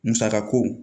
Musaka ko